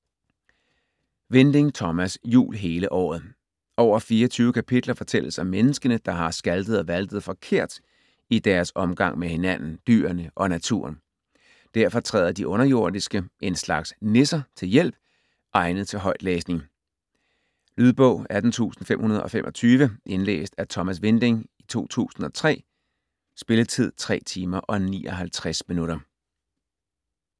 Winding, Thomas: Jul hele året Over 24 kapitler fortælles om menneskene, der har skaltet og valtet forkert i deres omgang med hinanden, dyrene og naturen. Derfor træder de underjordiske - en slags nisser - til hjælp. Egnet til højtlæsning. Lydbog 18525 Indlæst af Thomas Winding, 2003. Spilletid: 3 timer, 59 minutter.